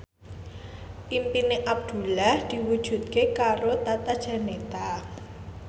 impine Abdullah diwujudke karo Tata Janeta